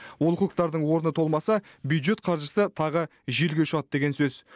олқылықтардың орны толмаса бюджет қаржысы тағы желге ұшады деген сөз